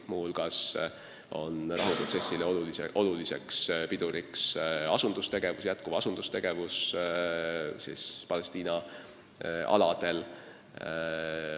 Muu hulgas on rahuprotsessi suur pidur jätkuv asundustegevus Palestiina aladel.